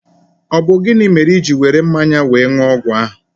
Ọ bụ gịnị mere o jị were mmanya wéé ṅụọ ọgwụ ahụ?